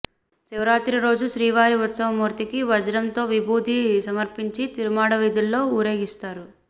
శివ రాత్రి రోజు శ్రీవారి ఉత్సవమూర్తికి వజ్రంతో విభూదిసమర్పించి తిరుమాడవీధుల్లో వూరేగిస్తారు